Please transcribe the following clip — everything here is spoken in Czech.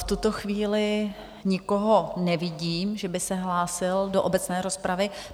V tuto chvíli nikoho nevidím, že by se hlásil do obecné rozpravy.